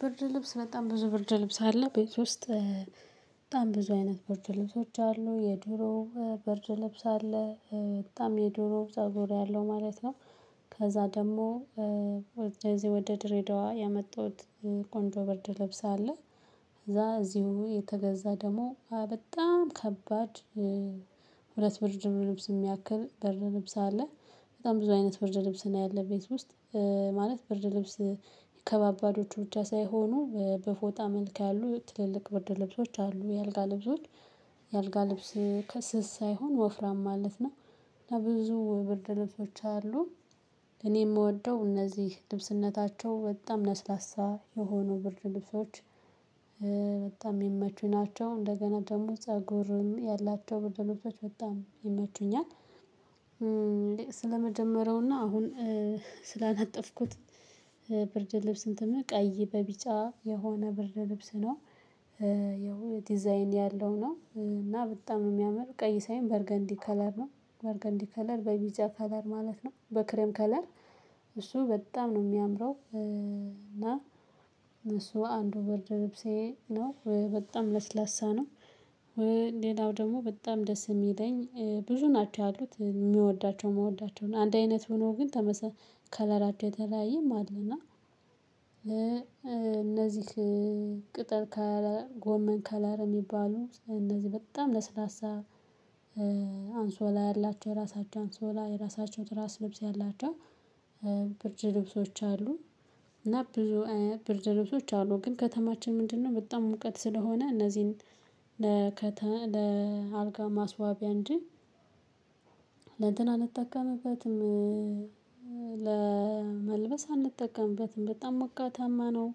ብርድ ልብስ በጣም ብዙ ብርድ ልብስ አለ ቤት ውስጥ በጣም ብዙ አይነት ብርድ ልብሶች አሉ የድሮ በርጅ ልብስ አለ በጣም የድሮ ብዛት ዞር ያለው ማለት ነው። ከዛ ደግሞ ወደዚህ ወደ ድሬዳዋ ያመጣሁት ቆንጆ በርድ ልብስ አለ። ከዛ እዚሁ የተገዛ ደግሞ በጣም ከባድ። ሁለት ብር ወጪ ቀርከሃን ድ ልብስ የሚያክል በር ልብስ አለ። በጣም ብዙ አይነት ብርድ ልብስ እና ያለ ቤት ውስጥ ማለት ብርድ ልብስ። የከባባዶቹ ብቻ ሳይሆኑ በፎጣ መልክ ያሉ ትልልቅ ወርደ ልብሶች አሉ የአልጋ ልብሶች። የአልጋ ልብስ ከስስ ሳይሆን ወፍራም ማለት ነው። ለብዙ ብርድ ልብሶች አሉ። እኔ የምወደው እነዚህ ልብስነታቸው በጣም ለስላሳ የሆኑ ብርድ ልብሶች። በጣም የሚመቹ ናቸው እንደገና ደግሞ ፀጉርም ያላቸው በደሎች በጣም ይመቹኛል። ስለመጀመሪያውና አሁን ስላነጠፍኩት ብርድ ልብስን ትምህርት ቀይ በቢጫ የሆነ ብርድ ልብስ ነው። ያው ዲዛይን ያለው ነው እና በጣም ነው የሚያምር ቀይ ሳይም በርገንዲ ከለር ነው በርገንዲ ከለር በቢጭያ ከለር ማለት ነው በክሬም ከለር። እሱ በጣም ነው የሚያምረው። እና እሱ አንዱ ወርድ ልብሴ ነው በጣም ለስላሳ ነው። ሌላው ደግሞ በጣም ደስ የሚለኝ ብዙ ናቸው ያሉት የምወዳቸው ምወዳቸው አንድ አይነት ሆኖ ግን ከለራቸው የተለያየም አለ። እና እነዚህ ቅጥር ካላ ጎመን ካላረ የሚባሉ እነዚህ በጣም ለስላሳ አንሶላ ያላቸው ራሳቸው አንሶላ የራሳቸው ትራስ ልብስ ያላቸው ብርድ ልብሶች አሉ። እና ብርድ ልብሶች አሉ ግን ከተማችን ምንድነው በጣም ሙቀት ስለሆነ እነዚህን ለአልጋ ማስዋቢያ እንጂ ለእንትን አንጠቀምበትም። ለመልበስ አንጠቀምበትም በጣም መቃታማ ነው።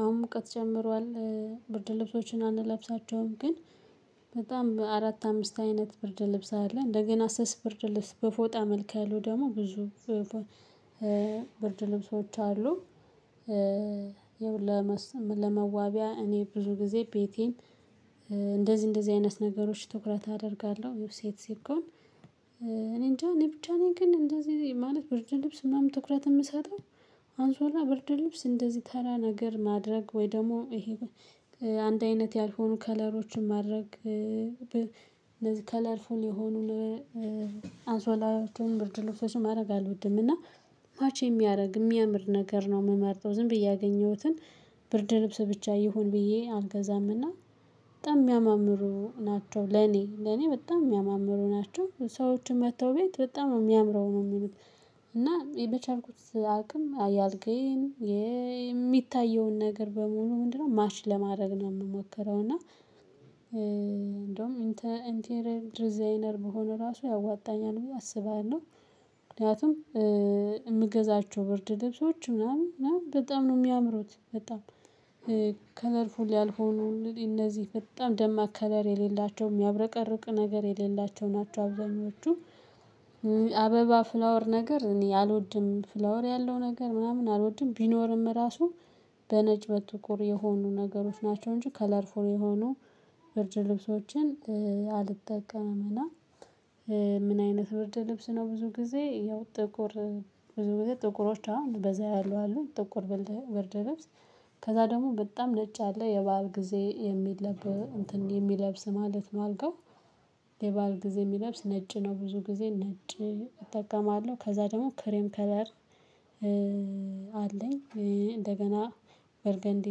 አሁን ሙቀት ጨምሯል። ብርድ ልብሶችን አንለብሳቸውም ግን በጣም አራት አምስት አይነት ብርድ ልብስ አለ እንደገና ስስ ብርድ ልብስ በፎጣ መልከ ያለው ደግሞ ብዙ ብርድ ልብሶች አሉ። ለመዋቢያ እኔ ብዙ ጊዜ ቤቴን እንደዚህ እንደዚህ አይነት ነገሮች ትኩረት አደርጋለሁ ሴት ሲኮን እኔ እንጃ እኔ ብቻ ነኝ ግን እንደዚህ ማለት ብርድ ልብስ ምናምን ትኩረት ምሰጠው። አንሶላ ብርድ ልብስ እንደዚህ ተራ ነገር ማድረግ ወይ ደግሞ እሄ አንድ አይነት ያልሆኑ ከለሮችን ማድረግ ከለርፉል የሆኑ አንሶላወችን ብርድ ሎብሶችን ማድረግ አልወድም። እና ማች የሚያረግ እሚያምር ነገር ነው ምመርጠው ዝም ብዬ ያገኘሁትን ብርድ ልብስ ብቻ ይሁን ብዬ አልገዛም። እና በጣም የሚያምሩ ናቸው ለኔ ሰዎች መጥተው ቤት በጣም ነው የሚያምሩ እና እኔ በቻልኩት አቅም የአልጋየን ሚታየውን ነገር በሙሉ ምንድነው ማች ለማድረግ ነው ምሞክረውና። እንዲያውም ኢንቴርየር ዲዛይነር ብሆን ያዋጣኛል ብዬ አስባለሁና ምገዛቸው ብርድ ልብሶች በጣም ነው ሚያምሩ። ከለርፉል ያልሆኑ እንግዲህ እነዚህ በጣም ደማቅ ከለር የሌላቸው ሚያብረቀርቅ ነገር የሌላቸው ናቸው አብዛኞቹ። አበባ ፍላወር ነገር እኔ አልወድም ፍላወር ያለው ነገር ምናምን አልወድም። ቢኖርም እራሱ በነጭ በጥቁር የሆኑ ነገሮች ናቸው እንጂ ከለርፉል የሆኑ ብርድ ልብሶችን አልጠቀምምና። ምን አይነት ብርድ ልብስ ነው? ብዙ ጊዜ ያው ጥቁር ብዙ ጥቁሮች አሁን በዛ ያሉ አሉን ጥቁር ብርድ ልብስ። ከዛ ደግሞ በጣም ነጭ አለ የባሀል ጊዜ የሚለብስ ማለት ነው። አልጋው የባል ጊዜ ሚለብስ ነጭ ነው ብዙ ጊዜ ነጭ እጠቀማለሁ ከዛ ደግሞ ክሬም ከለር። አለኝ እንደገና በርገንዲ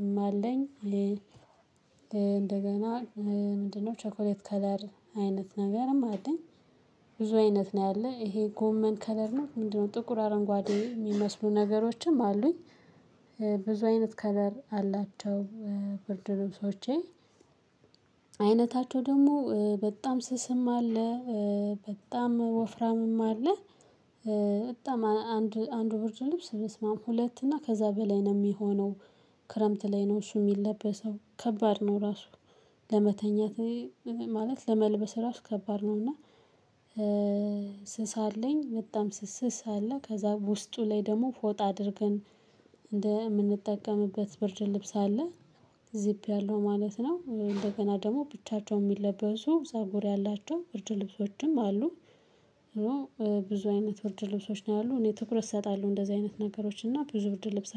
እም አለኝ እንደገና ምንድነው ቸኮሌት ከለር አይነት ነገርም አለኝ። ብዙ አይነት ነው ያለ ይሄ ጎመን ከለር ነው ምንድነው ጥቁር አረንጓዴ ሚመስሉ ነገሮችም አሉኝ። ብዙ አይነት ከለር አላቸው። ብርድ ልብሶቼ አይነታቸው ደግሞ በጣም ስስም አለ። በጣም ወፍራምም አለ። በጣም አንዱ አንድ ብርድ ልብስ ብስማም ሁለት እና ከዛ በላይ ነው ሚሆነው። ክረምት ላይ ነው እሱ ሚለበሰው ከባድ ነው ራሱ። ለመተኛት ማለት ለመልበስ ራሱ ከባድ ነው። እና ስስ አለኝ በጣም ስስ ስስ አለ ከዛ ውስጡ ላይ ደግሞ ፎጥ አድርገን እንደምንጠቀምበት ብርድ ልብስ አለ። ዚፕ ያለው ማለት ነው። እንደገና ደግሞ ብቻቸውን ሚለበሱ ፀጉር ያላቸው ብርድ ልብሶችም አሉ። ብዙ አይነት ብርድ ልብሶች ነው ያሉት እኔ ትኩረት እሰጣለሁ እንደዚህ አይነት ነገሮች እና ብዙ ብርድ ልብስ